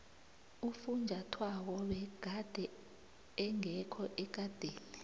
ufunjathwako begade engekho ekadeni